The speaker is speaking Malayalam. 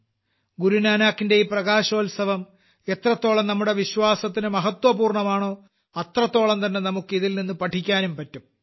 ഗുരുനാനാക്കിന്റെ ഈ പ്രകാശോൽസവം എത്രത്തോളം നമ്മുടെ വിശ്വാസത്തിന് മഹത്വപൂർണ്ണമാണോ അത്രത്തോളം തന്നെ നമുക്ക് ഇതിൽനിന്ന് പഠിക്കാനും പറ്റും